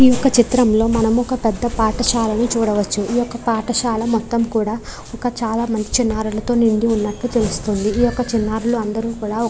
ఈ యొక్క చిత్రంలో మనము ఒక పెద్ధ పాఠశాలను చూడవచ్చు. ఈ యొక్క పాఠశాల మొత్తం కూడా ఒక చాలా మంచి నారాలతో నిండి ఉన్నట్టు తెలుస్తుంది. ఈ యొక్క చిన్నారులు అందరు కూడా --